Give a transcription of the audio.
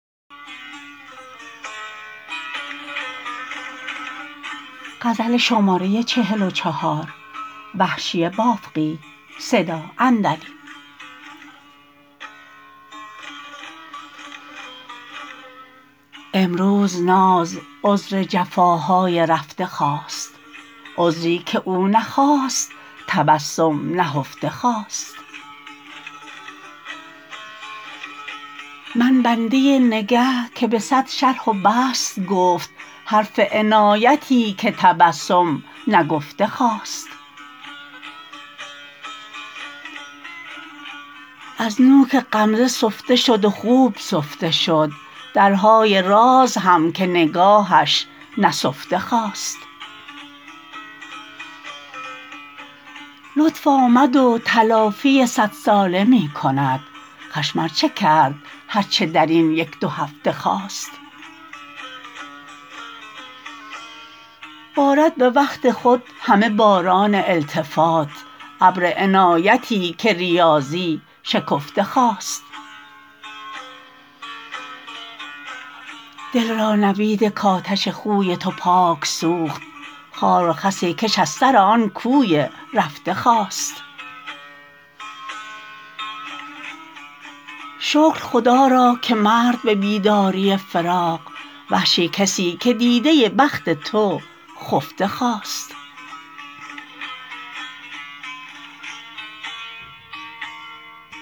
امروز ناز عذر جفاهای رفته خواست عذری که او نخواست تبسم نهفته خواست من بنده نگه که به سد شرح و بسط گفت حرف عنایتی که تبسم نگفته خواست از نوک غمزه سفته شد و خوب سفته شد درهای راز هم که نگاهش نسفته خواست لطف آمد و تلافی سد ساله می کند خشم ارچه کرد هر چه در این یک دو هفته خواست بارد به وقت خود همه باران التفات ابر عنایتی که ریاضی شکفته خواست دل را نوید کاتش خوی تو پاک سوخت خار و خسی کش از سر آن کوی رفته خواست شکر خدا را که مرد به بیداری فراق وحشی کسی که دیده بخت تو خفته خواست